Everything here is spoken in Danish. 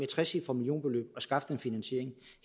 trecifret millionbeløb at skaffe den finansiering